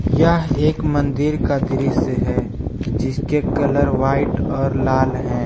यह एक मंदिर का दृश्य है जिसके कलर व्हाइट और लाल है।